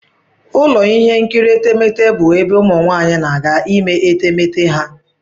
Ụlọ ihe nkiri etemeete bụ ebe ụmụ nwaanyị na-aga ime etemeete ha.